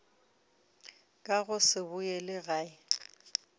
ka go se boele gae